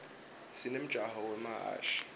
sinemjako wemahhashi